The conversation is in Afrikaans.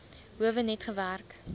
howe net gewerk